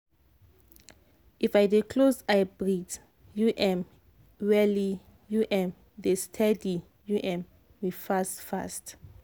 if i dey close eye breathe u m well e u m dey stedy u m me fast fast.